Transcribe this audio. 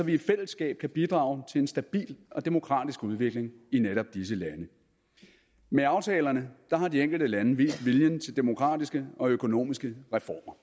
vi i fællesskab kan bidrage til en stabil og demokratisk udvikling i netop disse lande med aftalerne har de enkelte lande vist viljen til demokratiske og økonomiske reformer